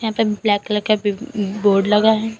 Black colour का भी board लगा है।